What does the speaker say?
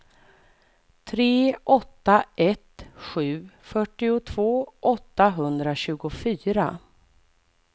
tre åtta ett sju fyrtiotvå åttahundratjugofyra